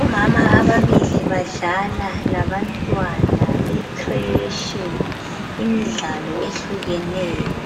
Omama ababili badlala labantwana becresh imidlalo etshiyeneyo